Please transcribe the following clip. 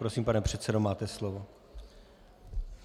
Prosím, pane předsedo, máte slovo.